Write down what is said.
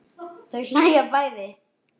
Þau hlæja bæði.